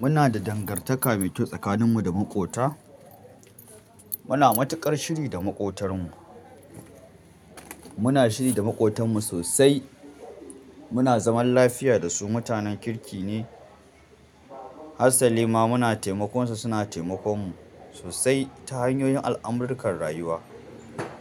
Muna da dangantaka mai kyau tsakaninmu da maƙota. Muna matuƙar shiri da maƙotarmu. Muna shiri da maƙotanmu sosai. Muna zaman lafiya da su. Mutanen kirki ne. Harsali ma muna taimakon su. Suna taimakon mu sosai ta hanyoyin al'amurukan rayuwa.